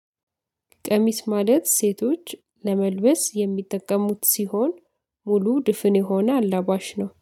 ቀሚስ ማለት ሴቶች ለመልበስ የሚጠቀሙት ሲሆን ሙሉ ድፍን የሆነ አላባሽ ነው